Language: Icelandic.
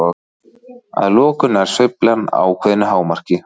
Að lokum nær sveiflan ákveðnu hámarki.